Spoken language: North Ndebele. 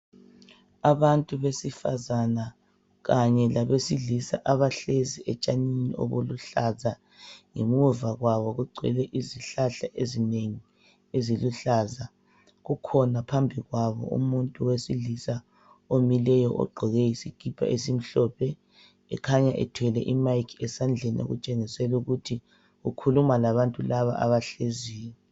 Abantu besifazana kanye labesilisa abahlezi etshanini olubuhlaza ngemuva kwabo kugcwele izihlahla ezinengi eziluhlaza. Kukhona phambili kwabo umuntu owesilisa omileyo ogqoke isikipa esimhlophe ekhanya ethwele imayikhi esandleni etshengisela ukuthi ukhuluma labantu laba abahleziyo.